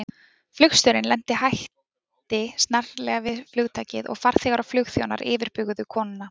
Flugstjórinn lenti hætti snarlega við flugtakið og farþegar og flugþjónar yfirbuguðu konuna.